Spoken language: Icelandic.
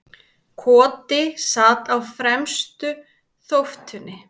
Koti sat á fremstu þóftunni.